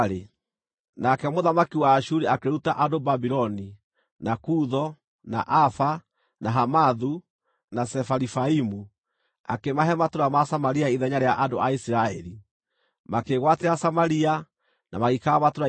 Nake mũthamaki wa Ashuri akĩruta andũ Babuloni, na Kutho, na Ava, na Hamathu na Sefarivaimu, akĩmahe matũũra ma Samaria ithenya rĩa andũ a Isiraeli. Makĩĩgwatĩra Samaria, na magĩikara matũũra-inĩ makuo.